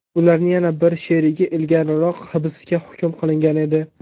Ularning yana bir sherigi ilgariroq hibsga hukm qilingan edi.